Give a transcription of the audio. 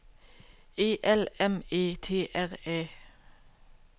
E L M E T R Æ